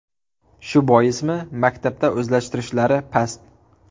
Shu boismi, maktabda o‘zlashtirishlari past.